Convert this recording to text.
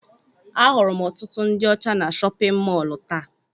Ahụrụ m ọtụtụ ndị ọcha na chọpịn mọọlụ taa.